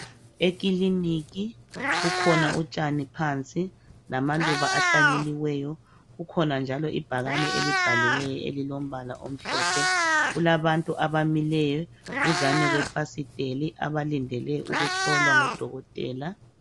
Ekiliniki kukhona utshani phansi lamaluba ahlanyeliweyo. Kukhona njalo ibhakane elibhaliweyo elilombala omhlophe. Kulabantu abamileyo duzane kwefasiteli abalindele ukuhlolwa ngo Dokotela .